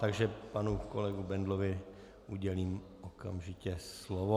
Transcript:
Takže panu kolegovi Bendlovi udělím okamžitě slovo.